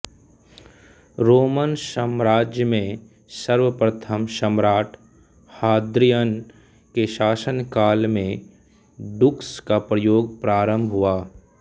Roman साम्राज्य में सर्व प्रथम सम्राट् हाद्रिअन के शासनकाल में डूक्स का प्रयोग प्रारंभ हुआ